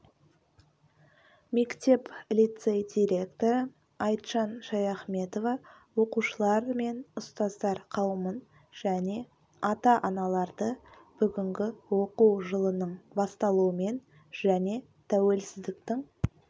мектеп-лицей директоры айтжан шаяхметова оқушылар мен ұстаздар қауымын және ата-аналарды бүгінгі оқу жылының басталуымен және тәуелсіздіктің